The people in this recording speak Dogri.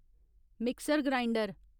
mixer grinder